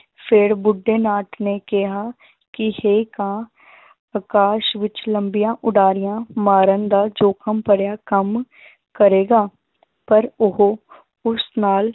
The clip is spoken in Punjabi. ਫਿਰ ਬੁੱਢੇ ਨਾਥ ਨੇ ਕਿਹਾ ਕਿ ਹੇ ਕਾਂ ਆਕਾਸ਼ ਵਿੱਚ ਲੰਬੀਆਂ ਉਡਾਰੀਆਂ ਮਾਰਨ ਦਾ ਜੋਖ਼ਮ ਭਰਿਆ ਕੰਮ ਕਰੇਗਾ ਪਰ ਉਹ ਉਸ ਨਾਲ